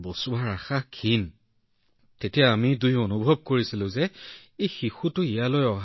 গতিকে আমি স্বামী আৰু পত্নী দুয়ো কান্দি কান্দি এই সিদ্ধান্তলৈ আহিছিলো কিয়নো আমি তাইক বাৰে বাৰে সাহসেৰে যুঁজি থকা দেখিছিলো